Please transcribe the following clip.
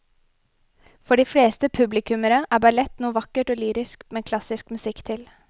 For de fleste publikummere er ballett noe vakkert og lyrisk med klassisk musikk til.